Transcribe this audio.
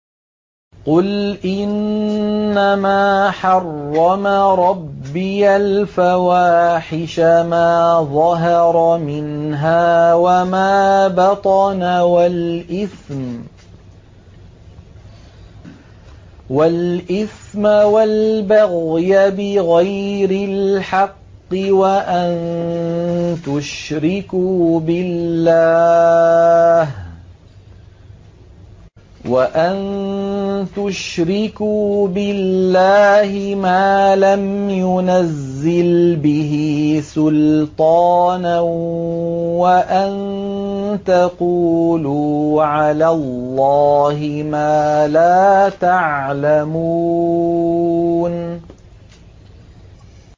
قُلْ إِنَّمَا حَرَّمَ رَبِّيَ الْفَوَاحِشَ مَا ظَهَرَ مِنْهَا وَمَا بَطَنَ وَالْإِثْمَ وَالْبَغْيَ بِغَيْرِ الْحَقِّ وَأَن تُشْرِكُوا بِاللَّهِ مَا لَمْ يُنَزِّلْ بِهِ سُلْطَانًا وَأَن تَقُولُوا عَلَى اللَّهِ مَا لَا تَعْلَمُونَ